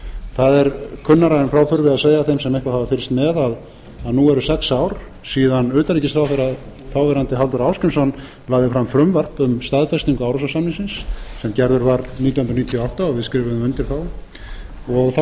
það er kunnara en frá þurfi að segja þeim sem eitthvað hafa fylgst með að nú eu sex ár síðan þáv utanríkisráðherra halldór ásgrímsson lagði fram frumvarp um staðfestingu árósasamningsins sem gerður var nítján hundruð níutíu og átta og við skrifuðum undir þá og þá